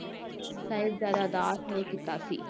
ਸਾਹਿਬਜ਼ਾਦਾ ਦਾਸ ਨੇ ਕੀਤਾ ਸੀ।